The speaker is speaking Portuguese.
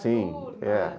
Sim, é.